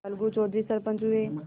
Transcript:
अलगू चौधरी सरपंच हुए